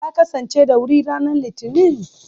Ta kasance da wuri ranar Litinin?